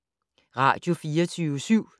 Radio24syv